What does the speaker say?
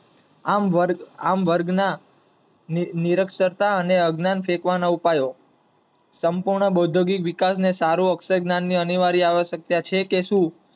આમ વર્ગ ના નિરક્ષતા અને અજ્ઞાન સેકવાના ઉપાયો. સંપૂર્ણં બાઉદ્યોગીક વિકાસ ને સારો અક્ષરજ્જ્ઞાન ની અનિવાર્ય આવશ્યકતા છે કે